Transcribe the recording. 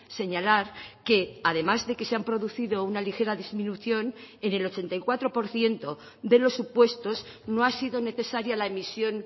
señalar que además de que se han producido una ligera disminución en el ochenta y cuatro por ciento de los supuestos no ha sido necesaria la emisión